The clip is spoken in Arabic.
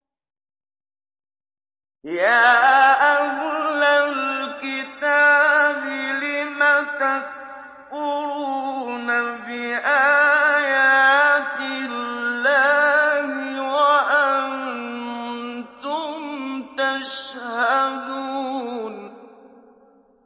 يَا أَهْلَ الْكِتَابِ لِمَ تَكْفُرُونَ بِآيَاتِ اللَّهِ وَأَنتُمْ تَشْهَدُونَ